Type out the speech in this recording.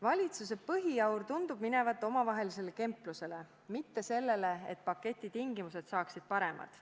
Valitsuse põhiaur tundub minevat omavahelisele kemplemisele, mitte selle poole püüdlemisele, et paketi tingimused saaksid paremad.